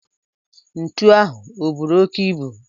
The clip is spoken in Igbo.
Ntu ahụ o buru oke ibu?